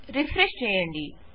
refresh చేయండి